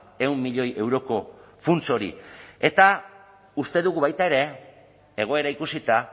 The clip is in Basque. ehun milioi euroko funts hori eta uste dugu baita ere egoera ikusita